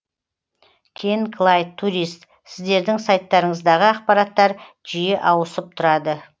кен клайд турист сіздердің сайттарыңыздағы ақпараттар жиі ауысып тұрады